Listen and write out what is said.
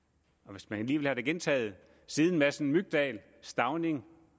hvis man lige vil have det gentaget siden madsen mygdal stauning